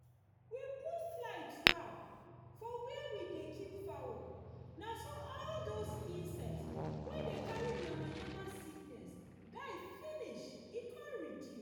we put fly trap for where we dey keep fowl na so all those insect wey dey carry yamayama sickness die finish e come reduce